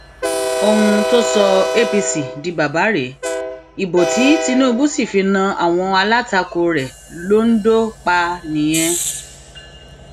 ohun tó sọ apc di bàbá rèé ìbò tí tinubu sì fi na àwọn alátakò rẹ londo pa nìyẹn